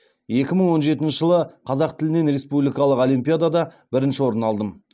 екі мың он жетінші жылы қазақ тілінен республикалық олимпиадада бірінші орын алдым